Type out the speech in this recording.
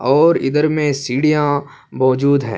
اور ادھر مے سیدھیا موزود ہے۔